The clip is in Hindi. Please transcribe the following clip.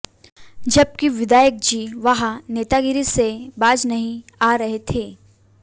जबकि विधायकजी वहां नेतागिरी से बाज नहीं आ रहे थे